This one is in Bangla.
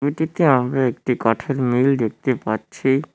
এটিতে আমিও একটি কাঠের মিল দেখতে পাচ্ছি।